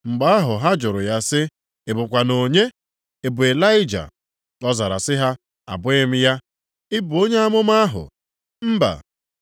Mgbe ahụ ha jụrụ ya sị, “Ị bụkwanụ onye? Ị bụ Ịlaịja?” Ọ zara sị ha, “Abụghị m ya.” “Ị bụ Onye amụma ahụ?” “Mba.”